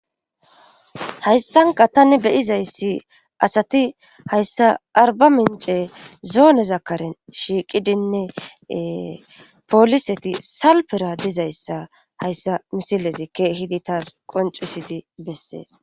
Hayssanka tani beyizayssi asati hayssa arba mince zoone zakaren shiiqidinne pooliseti salpera dizayssa hayssa misilezi keehidi taas qoncisidi bessees